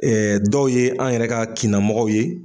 dɔw ye an yɛrɛ ka kinnamɔgɔw ye